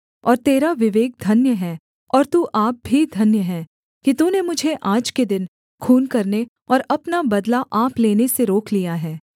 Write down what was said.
और तेरा विवेक धन्य है और तू आप भी धन्य है कि तूने मुझे आज के दिन खून करने और अपना बदला आप लेने से रोक लिया है